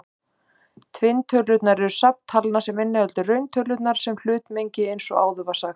Tvinntölurnar eru safn talna sem inniheldur rauntölurnar sem hlutmengi eins og áður var sagt.